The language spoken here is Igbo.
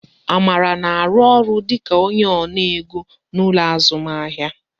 Amara na arụ ọrụ dịka onye ona ego n'ụlọ azụmahịa